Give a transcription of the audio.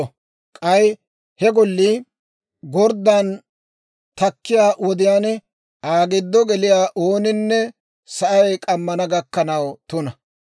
K'ay he gollii gorddan takkiyaa wodiyaan Aa giddo geliyaa ooninne sa'ay k'ammana gakkanaw tuna.